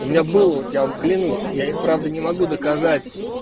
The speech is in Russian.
у меня был вот я вам клянусь я и правда не могу доказать